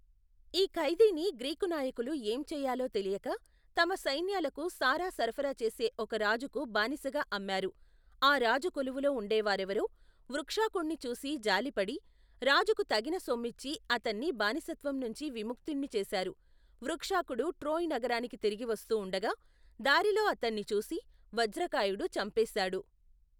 ఈ ఖైదీని గ్రీకు నాయకులు ఏం చెయ్యాలో తెలియక, తమ సైన్యాలకు సారా సరఫరాచెసే ఒక రాజుకు బానిసగా అమ్మారు, ఆ రాజు కొలువులో ఉండేవారెవరో, వృక్షాకుణ్ణి చూసిజాలిపడి, రాజుకు తగిన సొమ్మిచ్చి అతన్ని బానిసత్వంనుంచి, విముక్తుణ్ణిచేశారు, వృకాక్షుడు ట్రోయ్ నగరానికి తిరిగివస్తూ ఉండగా దారిలో అతన్ని చూసి, వజ్రకాయుడు చంపేశాడు.